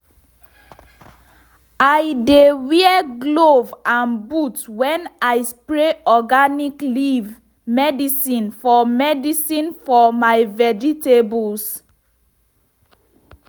i dey wear glove and boot when i spray organic leaf medicine for medicine for my vegetables.